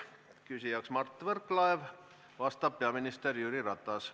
Küsija on Mart Võrklaev, vastab peaminister Jüri Ratas.